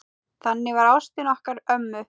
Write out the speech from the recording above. Þannig var ástin okkar ömmu.